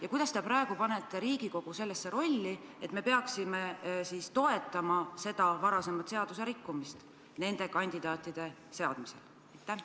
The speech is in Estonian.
Ja kuidas te panete Riigikogu praegu sellisesse rolli, et me peaksime toetama seda varasemat seaduserikkumist nende kandidaatide seadmisel?